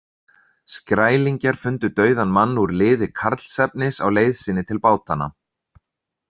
Skrælingjar fundu dauðan mann úr liði Karlsefnis á leið sinni til bátanna.